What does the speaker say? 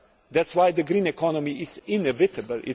That is why the green economy is inevitable.